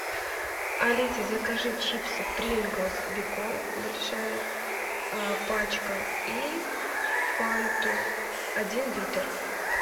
алиса закажи чипсы принглс бекон большая пачка и фанту один литр